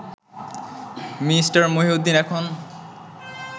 Me. Mohiuddin এখন